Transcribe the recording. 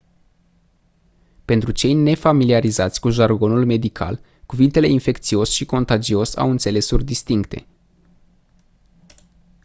pentru cei nefamiliarizați cu jargonul medical cuvintele infecțios și contagios au înțelesuri distincte